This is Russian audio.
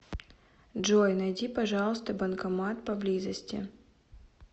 джой найди пожалуйста банкомат поблизости